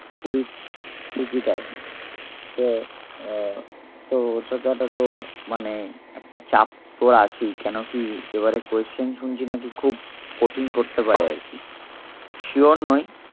কুড়ি ঠিকই তাই তো আহ তো তোর মানে একটা চাপ তোর আছেই কেন কি এবারে question শুনছি নাকি খুব কঠিন করতে পারে আরকি sure নই